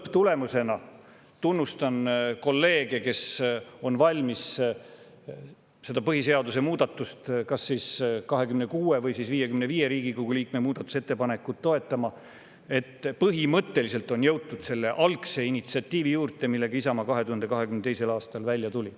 Lõpptulemusena – tunnustan kolleege, kes on valmis seda põhiseaduse muudatust, kas siis 26 või 55 Riigikogu liikme muudatusettepanekut toetama – on põhimõtteliselt jõutud tagasi selle algse initsiatiivi juurde, millega Isamaa 2022. aastal välja tuli.